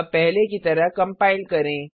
अब पहले की तरह कम्पाइल करें